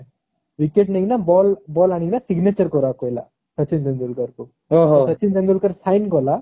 wicket ନେଇକିନା ball ball ଆଣିକିନା signature କରିବାକୁ କହିଲା ସଚିନ ତେନ୍ଦୁଲକର କୁ ସଚିନ ତେନ୍ଦୁଲକର sign କଲା